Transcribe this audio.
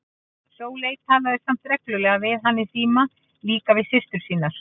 Sóley talaði samt reglulega við hann í síma og líka við systur sínar.